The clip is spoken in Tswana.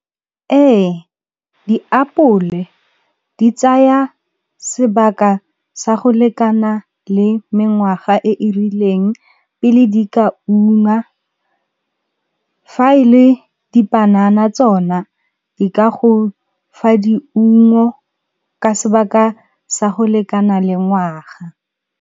Ee, diapole di tsaya sebaka sa go lekana le mengwaga e e rileng pele di ka ungwa. Fa e le dipanana tsona di ka go fa diungo ka sebaka sa go lekana le ngwaga.